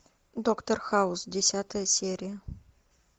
доктор хаус десятая серия